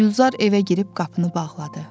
Gülzar evə girib qapını bağladı.